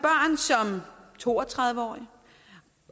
to og tredive årig